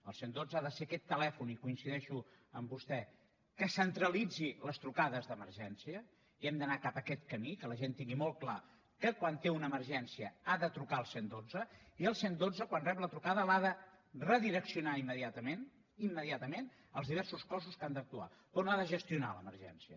el cent i dotze ha de ser aquest telèfon i coincideixo amb vostè que centralitzi les trucades d’emergència i hem d’anar cap a aquest camí que la gent tingui molt clar que quan té una emergència ha de trucar al cent i dotze i el cent i dotze quan rep la trucada l’ha de redireccionar immediatament immediatament als diversos cossos que han d’actuar però no ha de gestionar l’emergència